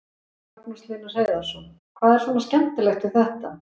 Magnús Hlynur Hreiðarsson: Hvað er svona skemmtilegt við þetta?